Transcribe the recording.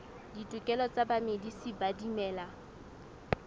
ditokelo tsa bamedisi ba dimela